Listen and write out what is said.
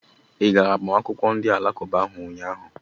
I gara agbamakwụkwọ ndị Alakụba ahụ?